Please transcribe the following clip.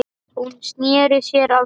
Hún sneri sér að honum.